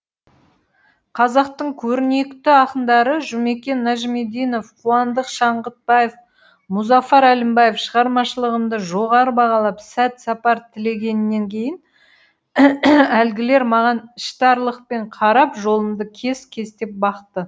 қазақтың көрнекті ақындары жұмекен нәжімиденов қуандық шаңғытбаев мұзафар әлімбаев шығармашылығымды жоғары бағалап сәт сапар тілегеннен кейін әлгілер маған іштарлықпен қарап жолымды кес кестеп бақты